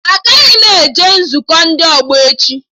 Agaghị m eje nzukọ ndị ọgbọ echi